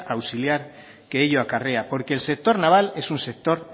auxiliar que ello acarrea porque el sector naval es un sector